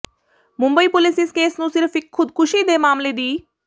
Mumbai police ਇਸ case ਨੂੰ ਸਿਰਫ ਇੱਕ ਖੁਦਕੁਸ਼ੀ ਦੇ ਮਾਮਲੇ ਦੀ